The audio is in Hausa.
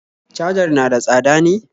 cajar na da tsada ne?